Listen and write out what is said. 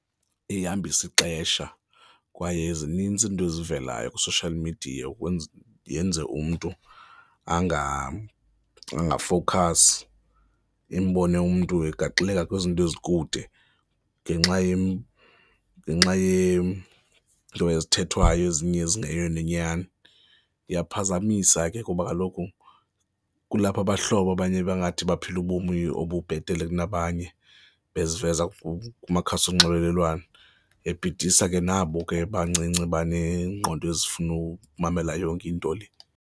Ihambisa ixesha kwaye zininzi iinto ezivelayo kwi-social media yenze umntu angafowukhasi, umbone umntu egaxeleka kwizinto ezikude ngenxa ngenxa yeento ezithethwayo ezinye ezingeyiyo nenyani. Ziyaphazamisa ke kuba kaloku kulapho abahlobo abanye bangathi baphila ubomi obubhetele kunabanye beziveza kumakhasi onxibelelwano, bebhidisa ke nabo ke bancinci baneengqondo ezifuna ukumamela yonke into le.